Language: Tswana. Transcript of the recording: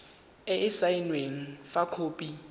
e e saenweng fa khopi